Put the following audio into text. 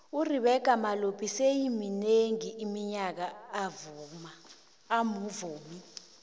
uribeccah malope seleiminengi iminyaka amuvumi